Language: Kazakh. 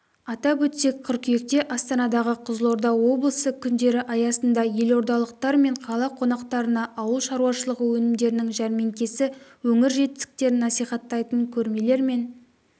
атап өтсек қыркүйекте астанадағы қызылорда облысы күндері аясында елордалықтар мен қала қонақтарына ауыл шаруашылығы өнімдерінің жәрмеңкесі өңір жетістіктерін насихаттайтын көрмелер мен